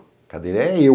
A cadeira é eu.